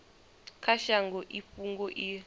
kha shango i fhungo i